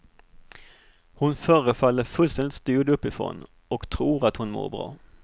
Hon förefaller fullständigt styrd uppifrån och tror att hon mår bra.